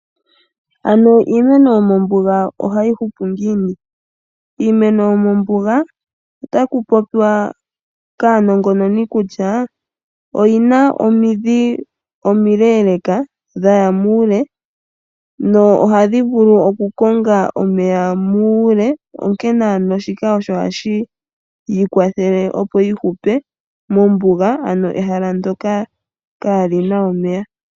Ano iimeno yomombuga ohayi hupu ngiini ? Iimeno yomombuga, otaku popiwa kaanongononi kutya , oyina omidhi omileeleka dhaya muule no ohadhi vulu oku konga omeya muule. Onkene ano shika osho hashi yi kwathele opo yi hupe mombuga ano ehala ndyoka ka lina omeya.